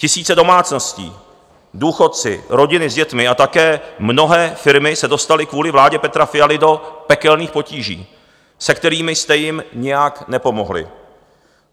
Tisíce domácností, důchodci, rodiny s dětmi a také mnohé firmy se dostali kvůli vládě Petra Fialy do pekelných potíží, se kterými jste jim nijak nepomohli.